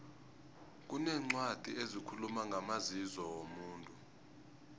kuneencwadi ezikhuluma ngamazizo womuntu